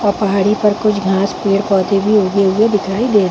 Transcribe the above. और पहाड़ी पर कुछ घास पेड़ पौधे भी उगे दिखाई हुए दिखाई दे रहे--